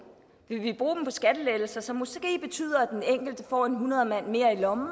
vil vi bruge dem på skattelettelser som måske betyder at den enkelte får en hundredemand mere i lommen